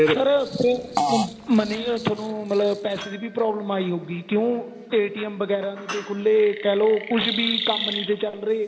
sir problem money ਤੁਹਾਨੂੰ ਮਤਲਬ ਪੈਸੇ ਦੀ ਵੀ problem ਆਈ ਹੋਊਗੀ ਕਿਉ ਵਗੈਰਾ ਨਹੀਂ ਤੇ ਖੁੱਲੇ ਕਹਿਲੋ ਕੁੱਝ ਵੀ ਕੰਮ ਨਹੀਂ ਤੇ ਚੱਲ ਰਹੇ